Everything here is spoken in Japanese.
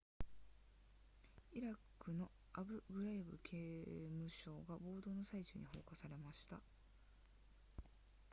イラクのアブグライブ刑務所が暴動の最中に放火されました